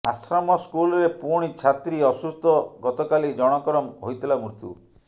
ଆଶ୍ରମ ସ୍କୁଲରେ ପୁଣି ଛାତ୍ରୀ ଅସୁସ୍ଥ ଗତକାଲି ଜଣଙ୍କର ହୋଇଥିଲା ମୃତ୍ୟୁ